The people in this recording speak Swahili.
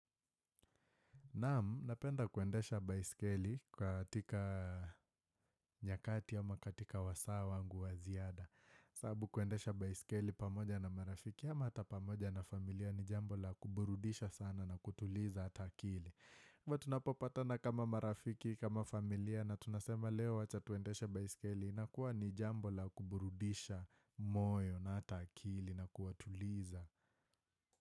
Naam, napenda kuendesha baiskeli katika nyakati ama katika wasaa wangu wa ziada. Sababu kuendesha baiskeli pamoja na marafiki ama hata pamoja na familia ni jambo la kuburudisha sana na kutuliza hata akili. Kwa tunapopata na kama marafiki, kama familia na tunasema leo wacha tuendeshe baiskeli inakuwa ni jambo la kuburudisha moyo na hata akili na kuwatuliza.